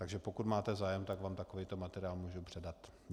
Takže pokud máte zájem, tak vám takovýto materiál můžu předat.